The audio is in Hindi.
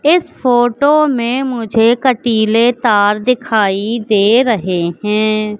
इस फोटो में मुझे कटीले तार दिखाई दे रहे हैं।